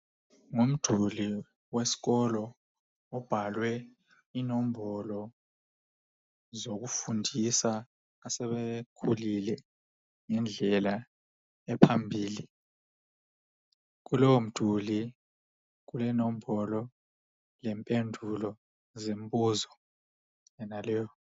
ngumduli weskolo obhalwe inombolo zokufundisa asebekhulile ngendlela ephambili kolowomduli kulenombolo lempendulo zembuzo yonaleyo.